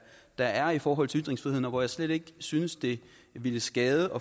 der er i forhold til ytringsfriheden og hvor jeg slet ikke synes det ville skade